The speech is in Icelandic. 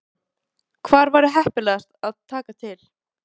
Hafsteinn Hauksson: Hvar væri heppilegast að taka til?